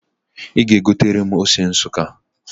Ị ga-egotere m ose Nsukka